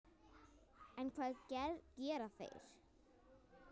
En hvað gera þeir?